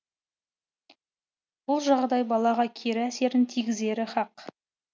бұл жағдай балаға кері әсерін тигізері хақ